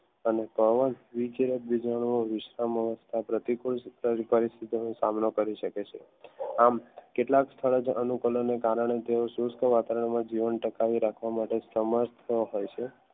અને પ્રતિ કુંજ પરિસ્થિતિનો સામનો કરી શકે છે આમ કેટલાક સ્થળ અનુકરો ને કારણે જેવા ચુસ્ત વાતાવરણમાં જીવનટકાવી રાખવા માટે સમક્ષ હોય છે